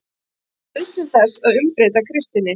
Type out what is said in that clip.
NAUÐSYN ÞESS AÐ UMBREYTA KRISTINNI